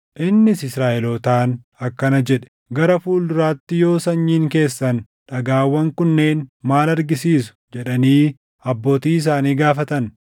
Innis Israaʼelootaan akkana jedhe; “Gara fuulduraatti yoo sanyiin keessan, ‘Dhagaawwan kunneen maal argisiisu?’ jedhanii abbootii isaanii gaafatan,